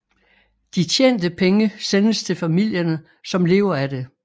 De tjente penge sendes til familierne som lever af det